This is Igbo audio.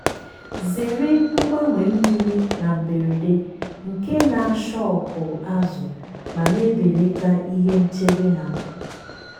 zere mgbanwe mmiri na mberede nke na ashọkụ azụ ma na-ebelata ihe nchebe ha.